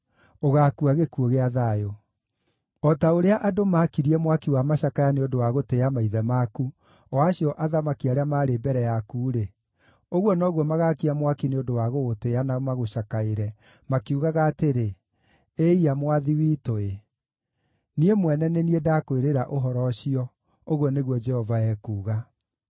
ũgaakua gĩkuũ gĩa thayũ. O ta ũrĩa andũ maakirie mwaki wa macakaya nĩ ũndũ wa gũtĩĩa maithe maku, o acio athamaki arĩa maarĩ mbere yaku-rĩ, ũguo noguo magaakia mwaki nĩ ũndũ wa gũgũtĩĩa na magũcakaĩre, makiugaga atĩrĩ, “Ĩiya, Mwathi witũ-ĩ!” Niĩ mwene nĩ niĩ ndakwĩrĩra ũhoro ũcio, ũguo nĩguo Jehova ekuuga.’ ”